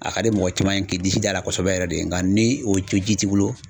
A ka di mɔgɔ caman ye k'i disi da la kosɛbɛ yɛrɛ de nga ni o ji t'i bolo